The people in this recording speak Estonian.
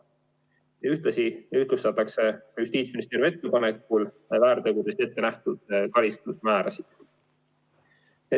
Samuti ühtlustatakse Justiitsministeeriumi ettepanekul väärtegude eest ette nähtud karistusmäärasid.